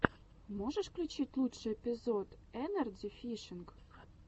можешь включить лучший эпизод энарджи фишинг